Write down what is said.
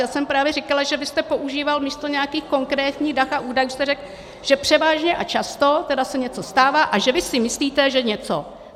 Já jsem právě říkala, že vy jste používal místo nějakých konkrétních dat a údajů, že jste řekl, že převážně a často se tedy něco stává a že vy si myslíte, že něco.